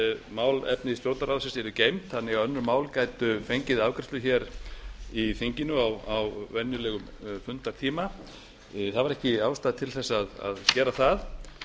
málefni stjórnarráðsins yrðu geymd þannig að önnur mál gætu fengið afgreiðslu í þinginu á venjulegum fundartíma það var ekki ástæða til að gera það